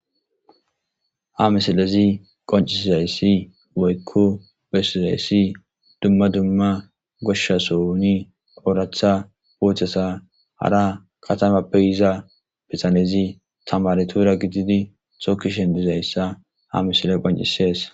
Ha misilezi qonccisizayssi woyko besizayssi dumma dumma goshsha sohoni oraththa uuththata hara katamappe yiza bitanezi tamaretura gididi tokishshin dizayssa ha misile qonccisees.